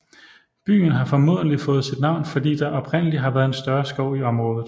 Byen har formodentlig fået sit navn fordi der oprindelig har været en større skov i området